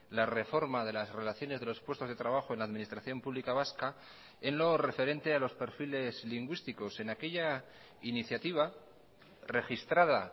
la reforma de las relaciones de los puestos de trabajo en la administración pública vasca en lo referente a los perfiles lingüísticos en aquella iniciativa registrada